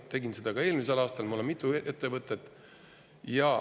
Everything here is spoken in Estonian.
Tegin seda ka eelmisel aastal – mul on mitu ettevõtet.